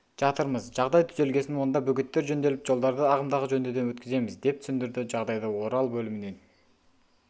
жатырмыз жағдай түзелгесін онда бөгеттер жөнделіп жолдарды ағымдағы жөндеуден өткіземіз деп түсіндірді жағдайды орал бөлімінен